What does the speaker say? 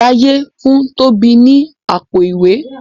Jaiye fun Tobi ní Àpò-ìwé.